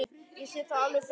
Ég sé það alveg fyrir mér.